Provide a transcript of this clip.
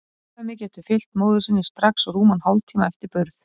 Afkvæmið getur fylgt móður sinni strax rúman hálftíma eftir burð.